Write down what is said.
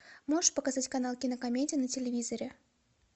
можешь показать канал кинокомедия на телевизоре